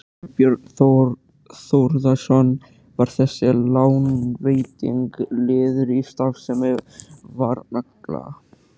Þorbjörn Þórðarson: Var þessi lánveiting liður í starfsemi Varnagla?